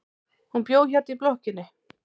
Hún bjó hérna í blokkinni.